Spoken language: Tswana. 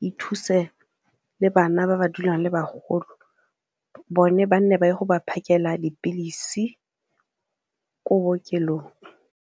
e thuse le bana ba ba dulang le bagolo bone ba nne ba ye go ba phakela dipilisi ko bookelong.